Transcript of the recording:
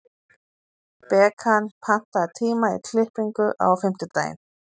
Bekan, pantaðu tíma í klippingu á fimmtudaginn.